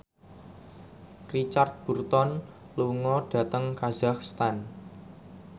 Richard Burton lunga dhateng kazakhstan